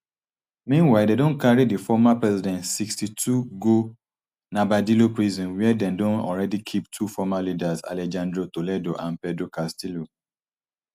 meanwhile dem don carry di former president sixty-two go narbadillo prison wia dem don alreadi keep two former leaders alejandro toledo and pedro castillo